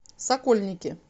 сокольники